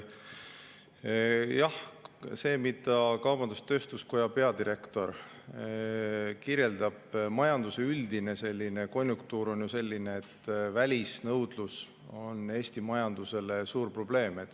Jah, see, mida kaubandus-tööstuskoja peadirektor kirjeldab, majanduse üldine konjunktuur, on ju selline, et välisnõudlus on Eesti majandusele suur probleem.